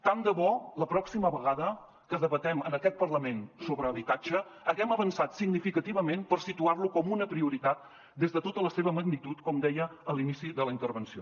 tant de bo la pròxima vegada que debatem en aquest parlament sobre habitatge haguem avançat significativament per situar lo com una prioritat des de tota la seva magnitud com deia a l’inici de la intervenció